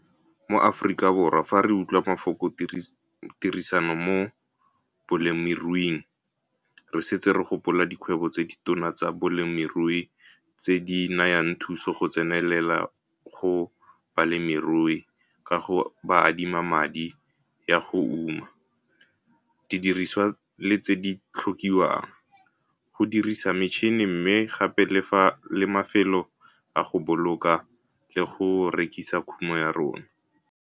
Mo Afrikaborwa fa re utlwa mafoko tirisano mo bolemiruing, re setse re gopola dikgwebo tse ditona tsa bolemirui tse di nayang thuso go tsenelela go balemirui ka go ba adima madi ya go uma, didiriswa le tse di tlhokiwang, go dirisa metšhene mme gape le mafelo a go boloka le go rekisa kumo ya rona.